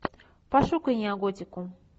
пошукай неоготику